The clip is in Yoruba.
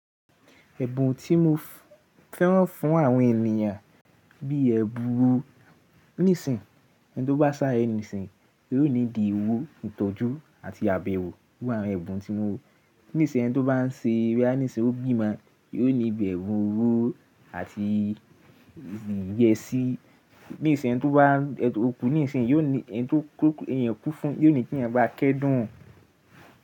Ẹ̀bùn tí mo fẹ́ran fún àwọn ènìyàn bí i ẹbu ro. Nísìnyí ẹni tó bá sá ẹ nísìnyí yóò ní di ìwú ìtọ́jú àti àbẹ̀wò fún àwọn ẹ̀bùn tí mo. Nísìnyí ẹni tó bá ń ṣe boya á ní ṣe ó bímọ, yóò ní ìbẹ̀rù òro àti ìyẹ́sì. Nísìnyí ẹni tó bá ẹtọ òkú níìsín yóò ní ẹni tó kú, èèyàn kú fún, yóò ní kí èèyàn bá a kẹ́dùn.